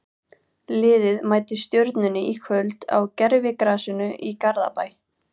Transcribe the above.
Liðið mætir Stjörnunni í kvöld á gervigrasinu í Garðabæ.